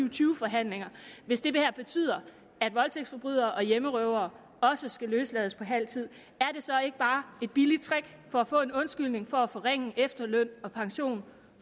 og tyve forhandlingerne hvis det betyder at voldtægtsforbrydere og hjemmerøvere også skal løslades på halv tid er det så ikke bare et billigt trick for at få en undskyldning for at forringe efterløn og pension